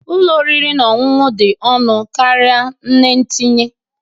Nri ụlọ oriri na ọṅụṅụ dị ọnụ karịa nne tinye